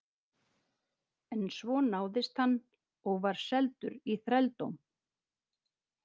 En svo náðist hann og var seldur í þrældóm.